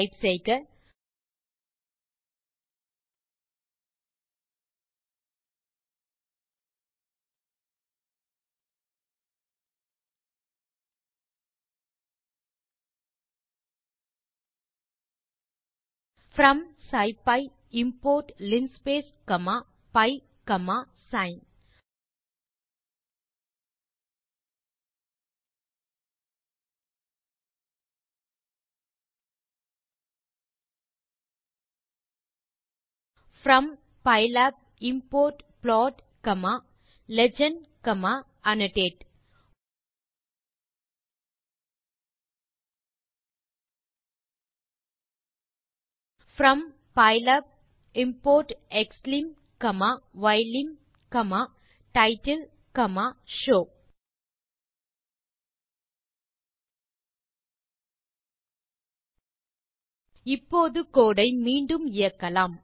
type செய்க from scipy import linspace from scipy import linspace comma pi comma sin from pylab import plot comma legend comma annotate from pylab import xlim comma ylim comma title comma show இப்போது code ஐ மீண்டும் இயக்கலாம்